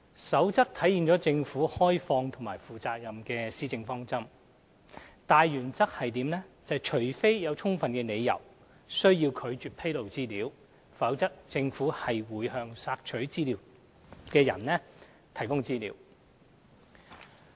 《守則》體現政府開放和負責任的施政方針，大原則是除非有充分理由需要拒絕披露資料，否則政府會向索取資料人士提供資料。